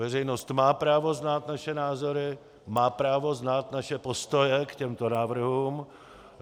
Veřejnost má právo znát naše názory, má právo znát naše postoje k těmto návrhům.